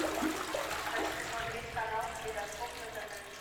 хочу посмотреть канал калейдоскоп на тв